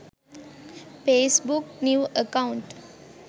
facebook new account